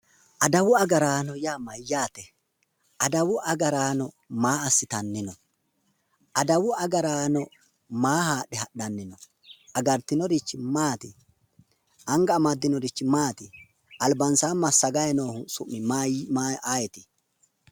Adawu agaraano yaa mayyaate? Adawu agaraano maa assitanni np? Adawu agaraano maa haadhe hadhannp? Angansa amaddinorichi maati? Albansaa masagayi noohu ayeeyi?